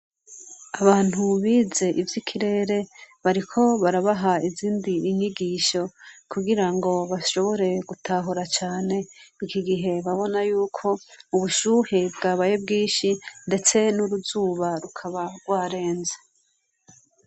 Abantu biz' ivyikirere bariko barabah' izindi nyigisho kugirango bashobore gutahura cane, ikigihe babonayuk' ubushuhe bwabaye bwinshi, ndetse n'uruzuba rukaba gwarenze.